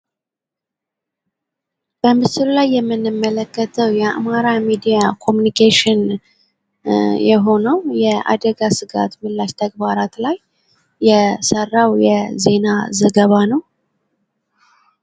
በምስሉ ላይ የምንመለከተው የ አማራ ሚዲያ ኮምኒኬሽን የሆነው የአደጋ ስጋት ምላሽ ተግባራት ላይ የሰራው የዜና ዘገባ ነው።